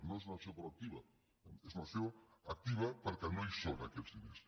no és una acció proactiva és una acció activa perquè no hi són aquests diners